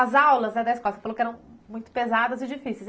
As aulas da dez costas, você falou que eram muito pesadas e difíceis.